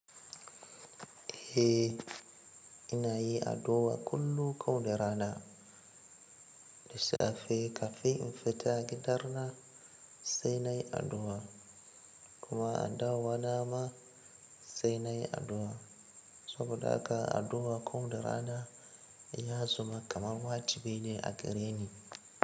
Eh, ina yi addu'a kullum ko da rana. Da safe kafin in fita gida na sai nai addu'a kuma a dawo na ma sai nayi addu'a. Saboda haka addu'a ko da rana ya zama kaman wajibi ne a gare ni.